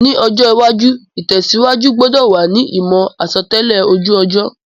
Ní ọjọ́ iwájú, ìtẹ̀síwájú gbudò wa ni ìmò àsotẹ́lẹ̀ ojú ọjọ́